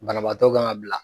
Banabaatɔ ka kan ka bila.